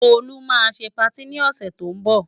Tolú máa ṣe patí ni ọ̀sẹ̀ tó ń bọ̀.